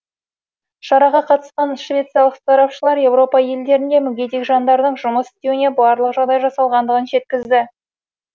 шараға қатысқан швециялық сарапшылар еуропа елдерінде мүгедек жандардың жұмыс істеуіне барлық жағдай жасалғандығын жеткізді